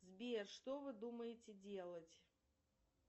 сбер что вы думаете делать